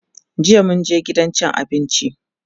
jiya mun je gidan cin abinci